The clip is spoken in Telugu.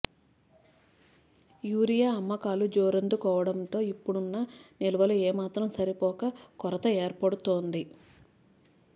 యూరియా అమ్మకాలు జోరందు కోవడంతో ఇప్పడున్న నిల్వలు ఏమాత్రం సరిపోక కొరత ఏర్పడుతోంది